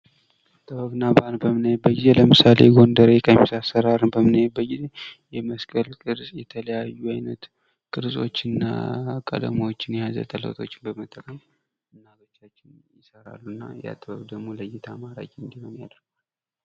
ጥበብና ባህል በምናይበት ጊዜ ለምሳሌ የጎንደር ቀሚስ አሰራር በምን አይበት ጊዜ የበመስቀል ቅርጽ የተለያዩ አይነት ቅርጾችና ቀለሞችን የያዘ ጥለቶችን እናቶቻችን ይሰራሉ እና ያ ጥበብ ደግሞ ለእይታ ማራኪ እንዲሆን ያደርገዋል::